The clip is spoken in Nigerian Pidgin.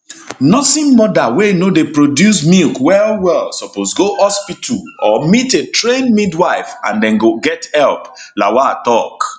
nursing mother wey no dey produce milk well well suppose go hospital or meet a trained midwife and dem go get help lawal tok